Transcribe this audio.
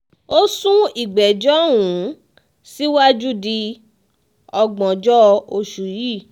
ó sún ìgbẹ́jọ́ um síwájú di ògbóǹjọ́ oṣù yìí